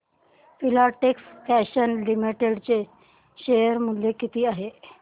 Filatex fashions limited चे share मूल्य किती आहे